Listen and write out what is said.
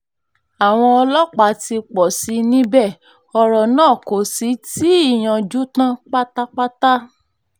àwọn ọlọ́pàá ti pọ̀ sí i níbẹ̀ ọ̀rọ̀ náà kò sì tí ì yanjú tán pátápátá